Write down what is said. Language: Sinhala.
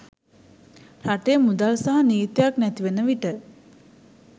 රටේ මුදල් සහ නීතියක් නැති වන විට